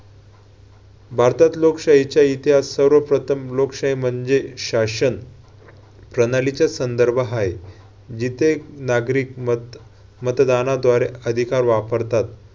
भारतात लोकशाहीचा इतिहास सर्वप्रथम लोकशाही म्हणजे शासन प्रणालीचे संदर्भ आहे. जिथे नागरिक मत~ मतदानाद्वारे अधिकार वापरतात